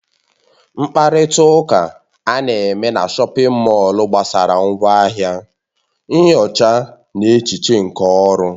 Mkparịta ụka ana-eme na shọpin mọll gbasara ngwaahịa, nyocha na echiche nke ọrụ.